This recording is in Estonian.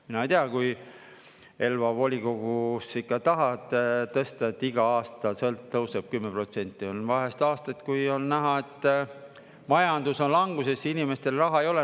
Mina ei tea, kui Elva volikogus ikka tahad tõsta, et iga aasta tõuseb 10%, on vahest aastaid, kui on näha, et majandus on languses, inimestel raha ei ole.